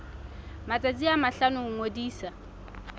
matsatsi a mahlano ho ngodisa